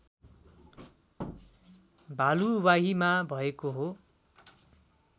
भलुवाहीमा भएको हो